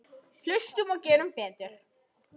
Hlustum og gerum betur.